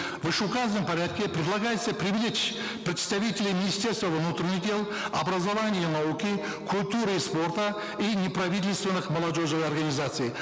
в вышеуказанном порядке предлагается привлечь представителей министерства внутренних дел образования и науки культуры и спорта и неправительственных молодежных организаций